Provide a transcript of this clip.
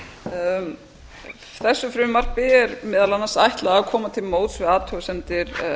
og karla þessu frumvarpi er meðal annars ætlað að koma til móts við athugasemdir